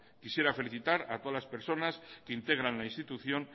quisiera felicitar a todas las personas que integran la institución